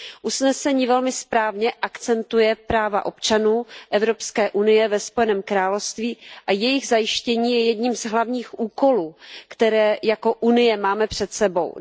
Usnesení velmi správně akcentuje práva občanů EU ve Spojeném království a jejich zajištění je jedním z hlavních úkolů, které jako Unie máme před sebou.